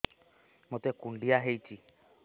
ମୋତେ କୁଣ୍ଡିଆ ହେଇଚି